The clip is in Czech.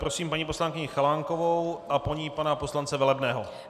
Prosím paní poslankyni Chalánkovou a po ní pana poslance Velebného.